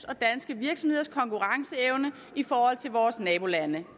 og danske virksomheders konkurrenceevne i forhold til vores nabolande